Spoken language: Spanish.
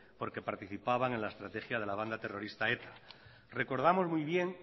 porque participaban en la estrategia de la banda terrorista eta recordamos muy bien